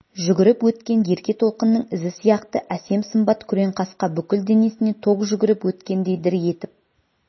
жүгіріп өткен ерке толқынның ізі сияқты әсем сымбат күреңқасқа бүкіл денесіне ток жүгіріп өткендей дір етіп